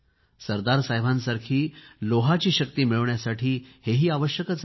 सरदारसाहेबांसारखी लोहाची शक्ती मिळवण्यासाठी हेही आवश्यक आहे